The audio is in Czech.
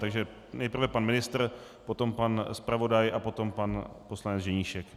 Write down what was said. Takže nejprve pan ministr, potom pan zpravodaj, a potom pan poslanec Ženíšek.